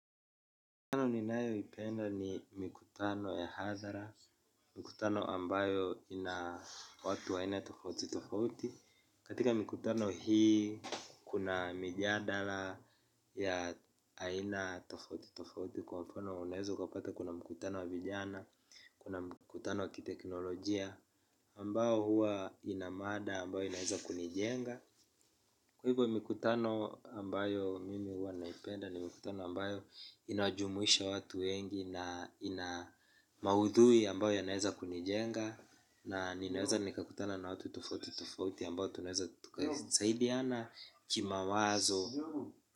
Mikutano ninayoipenda ni mikutano ya hadhara, mikutano ambayo ina watu aina tofauti tofauti. Katika mikutano hii kuna mijadala ya aina tofauti tofauti kwa mfano unaezo ukapata kuna mkutano wa vijana, kuna mkutano wa kiteknolojia ambao huwa inamada ambayo inaeza kunijenga. Kwa hivyo mikutano ambayo mimi huwa naipenda ni mikutano ambayo inajumuisha watu wengi na ina maudhui ambayo yanaeza kunijenga. Na ninaweza nikakutana na watu tofauti tofauti ambao tunaeza tukasaidiana kimawazo.